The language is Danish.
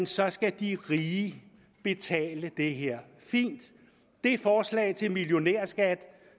så skal de rige betale det her fint det forslag til millionærskat